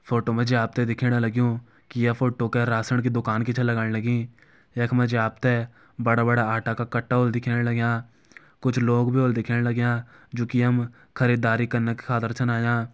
फोटो मा जी आप त दिखेण लग्युं की ये फोटो कै राशण की दुकान की छ लगण लगीं यख मा जी आप त बड़ा-बड़ा आटा का कट्टा होला दिखेण लग्यां कुछ लोग भी होला दिखेण लग्यां जू की यम खरीदारी कन की खातिर छन आयां।